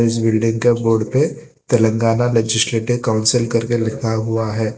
इस बिल्डिंग के बोर्ड पे तेलंगाना लेजिसलेटिव काउंसिल करके लिखा हुआ है।